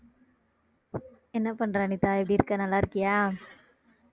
என்ன பண்ற அனிதா எப்படி இருக்க நல்லா இருக்கியா